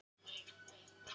Ég segi nei,